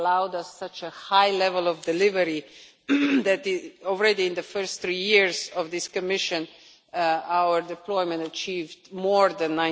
It allowed us such a high level of delivery that, already in the first three years of this Commission, our deployment achieved more than